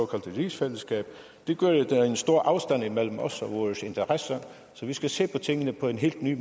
rigsfællesskab det gør at der er en stor afstand imellem os og vores interesser så vi skal se på tingene på en helt ny